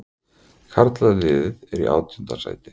Karlaliðið er í átjánda sæti